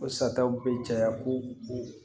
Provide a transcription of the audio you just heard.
O sataw be caya ko o